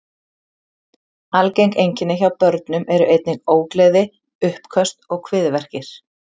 Algeng einkenni hjá börnum eru einnig ógleði, uppköst og kviðverkir.